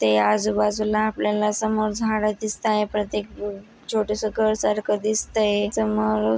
इथे आजूबाजूला आपल्याला समोर झाडे दिसताहे प्रत्येक छोटेस घर सारख दिसतय समोर--